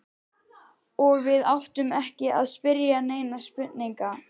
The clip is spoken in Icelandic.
Og við áttum ekki að spyrja neinna spurninga.